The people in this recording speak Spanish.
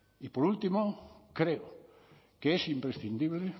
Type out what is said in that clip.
y por último creo que es imprescindible